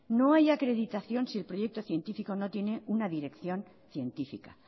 no hay acreditación si el proyecto científico no tiene una dirección científica